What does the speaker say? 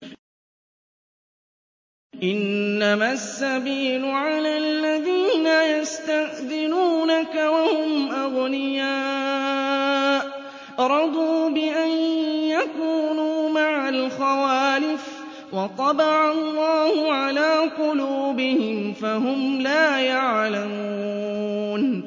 ۞ إِنَّمَا السَّبِيلُ عَلَى الَّذِينَ يَسْتَأْذِنُونَكَ وَهُمْ أَغْنِيَاءُ ۚ رَضُوا بِأَن يَكُونُوا مَعَ الْخَوَالِفِ وَطَبَعَ اللَّهُ عَلَىٰ قُلُوبِهِمْ فَهُمْ لَا يَعْلَمُونَ